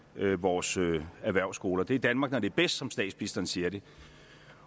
vores erhvervsskoler det er danmark når det er bedst som statsministeren siger det